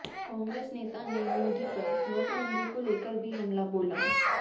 कांग्रेस नेता ने मोदी पर नोटबंदी को लेकर भी हमला बोला